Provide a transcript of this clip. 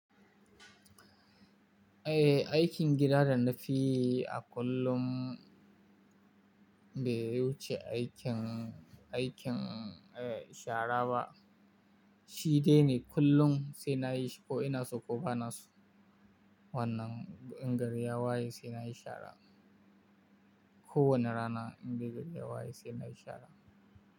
Eh, aikin gida da na fi yi a kullum bai wuce aikin, aikin, eh shara ba. Shi dai ne kullum sai na yi shi ko ina so ko ba na so. Wannan in gari ya waye sai na yi shara. Ko wane rana in dai gari ya waye sai na yi shara.